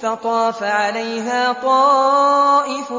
فَطَافَ عَلَيْهَا طَائِفٌ